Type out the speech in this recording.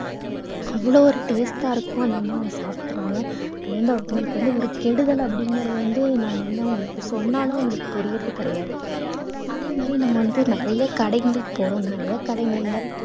அவ்வளவு ஒரு taste ஆ இருக்கும் அவங்க சாப்பிடுறாங்க அது வந்து அவங்களுக்கு வந்து ஒரு கெடுதல் அப்படிங்கறது வந்து நம்ம வந்து அவங்களுக்கு சொன்னாலும் அவங்களுக்கு புரியறது கிடையாது அதே மாதிரி நம்ம வந்து நிறையா கடைங்களுக்குப் போறோம் நிறையா கடைங்கள்ல